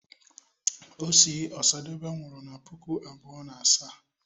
osi osadebe nwuru na puku abuo na asaa